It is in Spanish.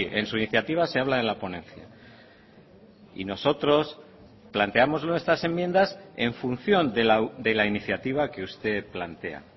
en su iniciativa se habla de la ponencia y nosotros planteamos nuestras enmiendas en función de la iniciativa que usted plantea